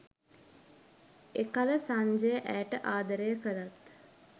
එකල සංජය ඇයට ආදරය කළත්